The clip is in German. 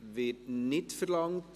Das Wort wird nicht verlangt.